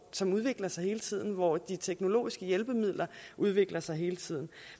som udvikler sig hele tiden og hvor de teknologiske hjælpemidler udvikler sig hele tiden